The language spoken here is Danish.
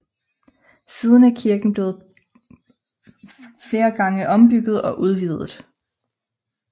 Siden er kirken flere gange ombygget og udvidet